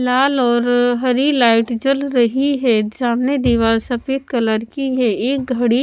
लाल और अ हरी लाइट जल रही है सामने दीवार सफेद कलर की है एक घड़ी--